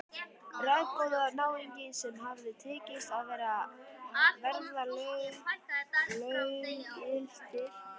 Ráðagóða náunga sem hafði tekist að verða löggiltir Vesturlandabúar.